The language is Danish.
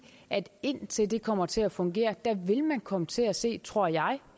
at indtil det kommer til at fungere vil man komme til at se tror jeg